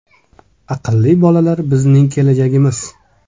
Aqlli bolalar bizning kelajagimiz.